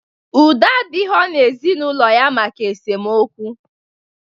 Udo adighọ n'ezinaụlọ ya maka esemokwu